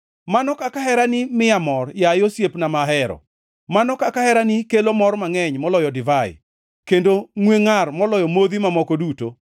Mano kaka herani miya mor, yaye osiepna, ma ahero; mano kaka herani kelo mor mangʼeny moloyo divai, kendo ngʼwe ngʼar moloyo modhi mamoko duto!